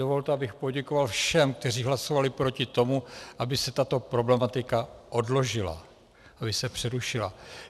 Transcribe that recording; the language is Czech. Dovolte, abych poděkoval všem, kteří hlasovali proti tomu, aby se tato problematika odložila, aby se přerušila.